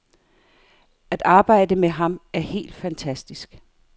At arbejde med ham er helt fantastisk.